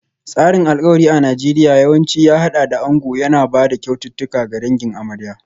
Tsarin alkawari a Najeriya yawanci ya haɗa da ango yana ba da kyaututtuka ga dangin amarya.